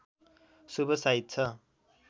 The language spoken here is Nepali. शुभ साइत छ